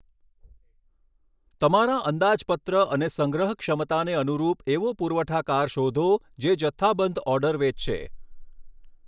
તમારા અંદાજપત્ર અને સંગ્રહ ક્ષમતાને અનુરૂપ એવો પુરવઠાકાર શોધો જે જથ્થાબંધ ઓર્ડર વેચશે.